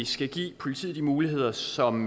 skal give politiet de muligheder som